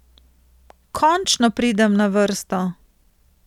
Končno pridem na vrsto.